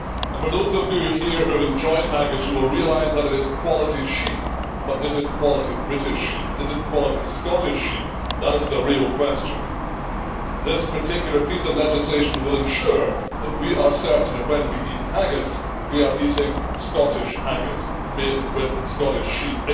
For those of you here who have enjoyed haggis you will realise that it is quality sheep, but is it quality British sheep, is it quality Scottish sheep? That is the real question. This particular piece of legislation will ensure that we are certain that when we eat haggis we are eating Scottish haggis, made with Scottish sheep.